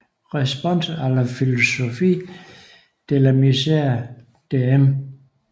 Réponse à la philosophie de la misère de M